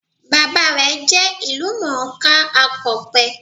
Bàbá rè jẹ́ ìlú mòó ká akọ̀pe